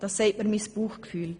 Das sagt mir mein Bauchgefühl.